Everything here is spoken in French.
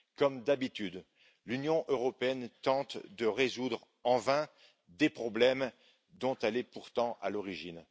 Comme d'habitude, l'Union européenne tente de résoudre en vain des problèmes dont elle est pourtant à l'origine.